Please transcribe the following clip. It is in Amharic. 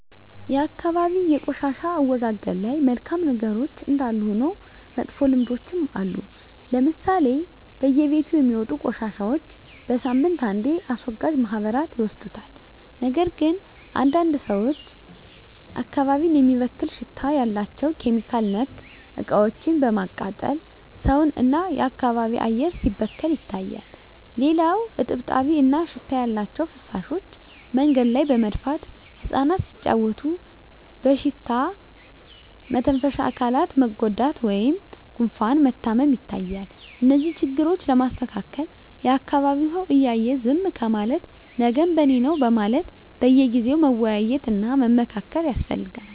የአካባቢ የቆሻሻ አወጋገድ ላይ መልካም ነገሮች እንዳሉ ሁሉ መጥፎ ልምዶችም አሉ ለምሳሌ በየቤቱ የሚወጡ ቆሻሻዎች በሳምንት አንዴ አስወጋጅ ማህበራት ይወስዱታል ነገር ግን አንዳንድ ሰዎች አካባቢን የሚበክል ሽታ ያላቸው (ኬሚካል)ነክ እቃዎችን በማቃጠል ሰውን እና የአካባቢ አየር ሲበከል ይታያል። ሌላው እጥብጣቢ እና ሽታ ያላቸው ፍሳሾች መንገድ ላይ በመድፋት እፃናት ሲጫዎቱ በሽታ መተንፈሻ አካላት መጎዳት ወይም ጉፋን መታመም ይታያል። እነዚህን ችግሮች ለማስተካከል የአካቢዉ ሰው እያየ ዝም ከማለት ነገም በኔነው በማለት በየጊዜው መወያየት እና መመካከር ያስፈልጋል።